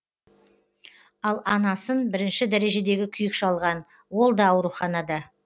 ал анасын бірінші дәрежедегі күйік шалған ол да ауруханада